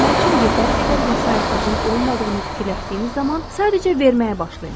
Verməmək üçün yetəri qədər vəsaitinizin olmadığını fikirləşdiyiniz zaman sadəcə verməyə başlayın.